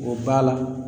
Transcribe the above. O b'a la